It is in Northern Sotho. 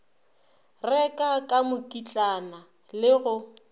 reka ka mokitlana le go